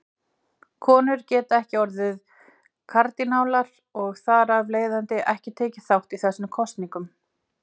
Konur geta ekki orðið kardínálar og þar af leiðandi ekki tekið þátt í þessum kosningum.